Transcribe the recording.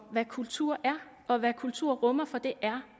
hvad kultur er og hvad kultur rummer for det er